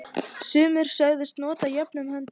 Sumir sögðust nota orðin jöfnum höndum.